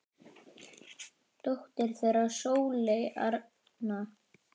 Dóttir þeirra er Sóley Arna.